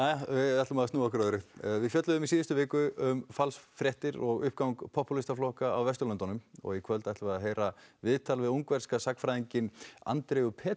við ætlum að snúa okkur að öðru við fjölluðum í síðustu viku um falsfréttir og uppgang popúlískra flokka á Vesturlöndum í kvöld ætlum við að heyra viðtal við ungverskan sagnfræðinginn Andreu